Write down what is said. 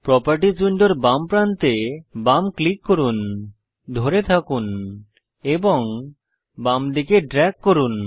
properties উইন্ডোর বাম প্রান্তে বাম ক্লিক করুন ধরে থাকুন এবং বামদিকে ড্রেগ করুন